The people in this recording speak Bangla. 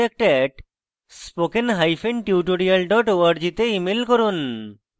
contact @spokentutorial org তে ইমেল করুন